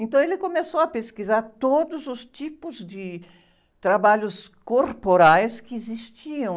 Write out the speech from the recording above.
Então ele começou a pesquisar todos os tipos de trabalhos corporais que existiam.